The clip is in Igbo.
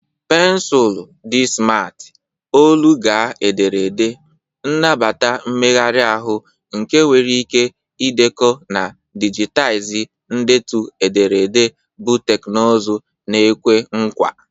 Pensụl di simarti, olu-gaa-ederede, nnabata mmegharị ahụ nke nwere ike ịdekọ na dijitaizi ndetu ederede bụ teknụzụ na-ekwe nkwa.